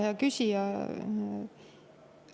Hea küsija!